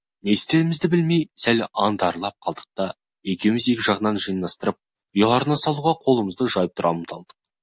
не істерімізді білмей сәл аңтарылып қалдық та екеуміз екі жағынан жинастырып ұяларына салуға қолымызды жайып тұра ұмтылдық